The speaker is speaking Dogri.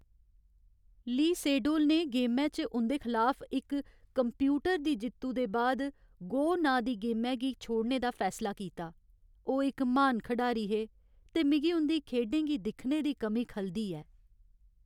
ली सेडोल ने गेमै च उं'दे खलाफ इक कंप्यूटर दी जित्तु दे बाद "गो" नांऽ दी गेमै गी छोड़ने दा फैसला कीता। ओह्‌ इक म्हान खढारी हे ते मिगी उं'दी खेढें गी दिक्खने दी कमी खलदी ऐ।